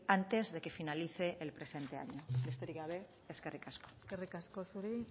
antes de que finalice el presente año besterik gabe eskerrik asko eskerrik asko zuri